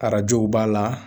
Arajow b'a la.